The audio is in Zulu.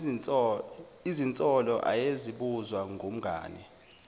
izinsolo ayezibuzwa ngumngani